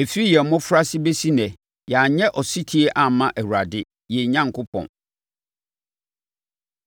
ɛfiri yɛn mmɔfraase bɛsi ɛnnɛ yɛanyɛ ɔsetie amma Awurade, yɛn Onyankopɔn.”